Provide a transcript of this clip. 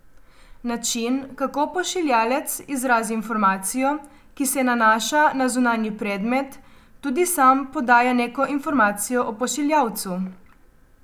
Način, kako pošiljalec izrazi informacijo, ki se nanaša na zunanji predmet, tudi sam podaja neko informacijo o pošiljalcu.